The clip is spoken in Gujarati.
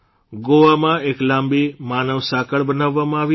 ગોવામાં એક લાંબી માનવસાંકળ બનાવવામાં આવી હતી